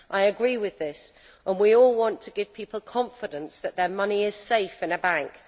I agree with this. We all want to give people confidence that their money is safe with a bank.